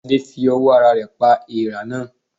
Adé fi owó ara rè pa eèrà náà